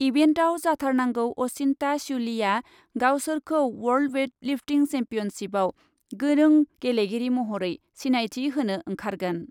इभेन्टआव जाथारनांगौ अचिन्ता श्युलीआ गावसोरखौ वर्ल्ड वेटलिफ्टिं सेम्पियनसिपआव गोनों गेलेगिरि महरै सिनायथि होनो ओंखारगोन ।